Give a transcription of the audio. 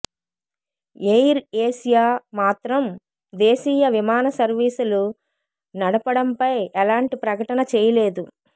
air Asia మాత్రం దేశీయ విమాన సర్వీసులు నడపడంపై ఎలాంటి ప్రకటన చేయలేదు